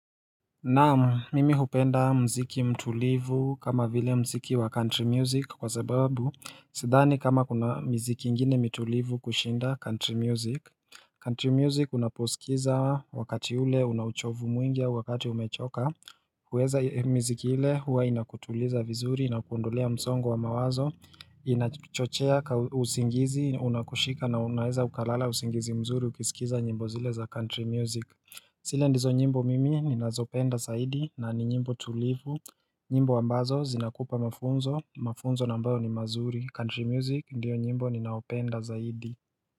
Naam mimi hupenda mziki mtulivu kama vile mziki wa country music kwa sababu Sidhani kama kuna mziki ingine mtulivu kushinda country music country music unaposikiza wakati ule una uchovu mwingi au wakati umechoka huweza mziki ile hua inakutuliza vizuri inakuondolea msongo wa mawazo Inachochea ka usingizi unakushika na unaeza ukalala usingizi mzuri ukisikiza nyimbo zile za country music Sile ndizo nyimbo mimi ni nazopenda zaidi na ni nyimbo tulivu nyimbo ambazo zinakupa mafunzo, mafunzo nambayo ni mazuri, country music ndiyo nyimbo ni nayopenda zaidi.